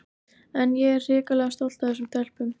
En ég er hrikalega stolt af þessum stelpum.